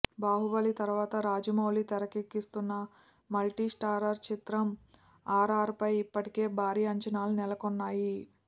బాహుబలి తర్వాత రాజమౌళి తెరకెక్కిస్తున్న multi starrer చిత్రం ఆర్ఆర్ఆర్పై ఇప్పటికే భారీ అంచనాలు నెలకొన్నాయి